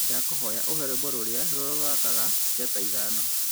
ndakuhoya uhee rwĩmbo rũrĩa rorathaka njata ithano